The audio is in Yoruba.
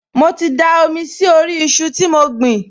Mo ti da omi sí orí iṣu tí mo gbìn